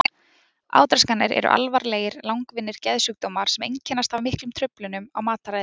Átraskanir eru alvarlegir langvinnir geðsjúkdómar sem einkennast af miklum truflunum á mataræði.